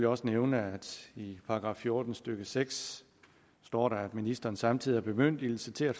også nævne at i § fjorten stykke seks står der at ministeren samtidig har bemyndigelse til at